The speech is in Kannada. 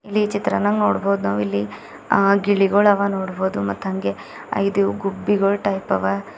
ಚಿತ್ರನ್ಯಾಗ್ ನೋಡ್ಬೋದ್ ನಾವು ಇಲ್ಲಿ ಆ ಗಿಳಿಗೋಳ ಹವ ನೋಡಬಹುದು ಮತ್ ಅಂಗೆ ಐದು ಗುಬ್ಬಿಗಳು ಟೈಪ್ ಹವಾ.